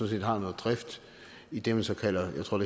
set har noget drift i det man så kalder jeg tror